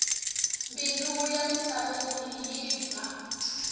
mbilu ya misaveni yi ba